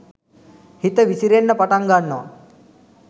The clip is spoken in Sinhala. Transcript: හිත විසිරෙන්න පටන් ගන්නව.